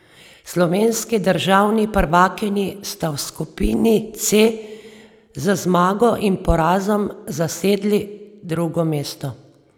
Slovenski državni prvakinji sta v skupini C z zmago in porazom zasedli drugo mesto.